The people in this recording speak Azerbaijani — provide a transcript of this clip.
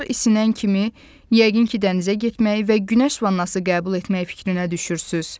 Havalar isinən kimi yəqin ki, dənizə getməyi və günəş vannası qəbul etməyi fikrinə düşürsüz.